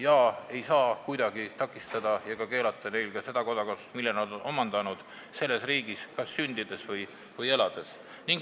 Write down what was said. Inimestele ei saa kuidagi keelata ka seda kodakondsust, mille nad on omandanud teises riigis sündides või elades.